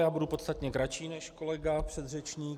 Já budu podstatně kratší než kolega předřečník.